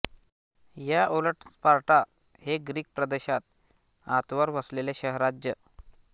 या उलट स्पार्टा हे ग्रीक प्रदेशात आतवर वसलेले शहरराज्य